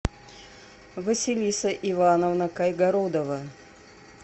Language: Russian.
василиса ивановна кайгородова